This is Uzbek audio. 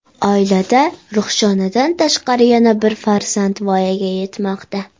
Oilada Ruhshonadan tashqari yana bir farzand voyaga yetmoqda.